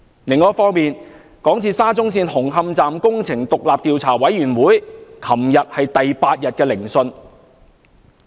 另一方面，港鐵沙中線紅磡站工程獨立調查委員會昨天進行第八天聆訊。